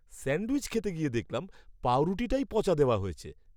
Sandwich খেতে গিয়ে দেখলাম, পাঁউরুটিটাই পচা দেওয়া হয়েছে।